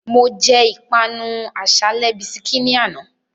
Mo jẹ́ ìpanu àsálẹ́ bisikí ní àná